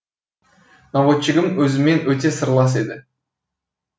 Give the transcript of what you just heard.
наводчигім өзіммен өте сырлас еді